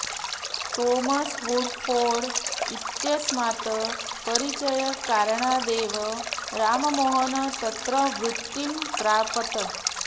Thomas Woodford इत्यस्मात् परिचयकारणादेव राममोहनः तत्र वृत्तिं प्रापत्